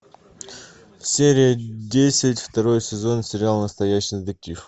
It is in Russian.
серия десять второй сезон сериал настоящий детектив